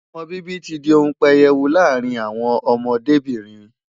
Ọmọ bíbí ti di ohun pẹyẹwu láàárín àwọn ọmọdébìnrin.